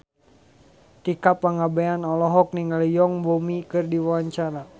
Tika Pangabean olohok ningali Yoon Bomi keur diwawancara